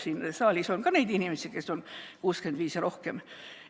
Siin saalis on ka neid inimesi, kes on 65 või vanemad.